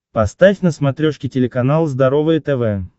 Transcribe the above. поставь на смотрешке телеканал здоровое тв